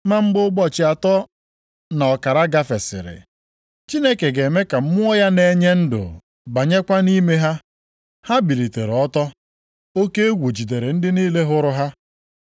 Ma mgbe ụbọchị atọ na ọkara gafesịrị, Chineke ga-eme ka Mmụọ ya na-enye ndụ banyekwa nʼime ha, ha bilitere ọtọ, oke egwu jidere ndị niile hụrụ ha.